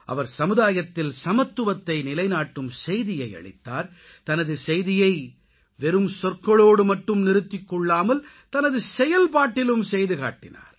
அவர் சமுதாயத்தில் சமத்துவத்தை நிலைநாட்டும் செய்தியை அளித்தார் தனது செய்தியை வெறும் சொற்களோடு மட்டும் நிறுத்திக் கொள்ளாமல் தனது செயல்பாட்டிலும் செய்து காட்டினார்